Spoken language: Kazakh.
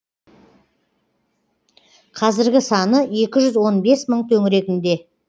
қазіргі саны екі жүз он бес мың төңірегінде